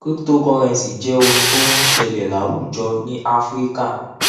crypotocurrency jẹ ohun tó ń ṣẹlẹ láwùjọ ní áfíríkà